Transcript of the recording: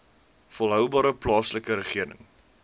volhoubare plaaslike regering